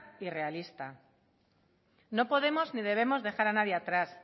y realista no podemos ni debemos dejar a nadie atrás